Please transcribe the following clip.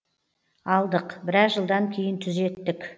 алдық біраз жылдан кейін түзеттік